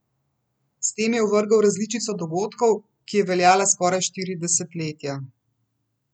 S tem je ovrgel različico dogodkov, ki je veljala skoraj štiri desetletja.